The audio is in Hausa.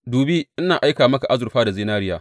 Dubi ina aika maka azurfa da zinariya.